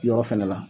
Yɔrɔ fɛnɛ la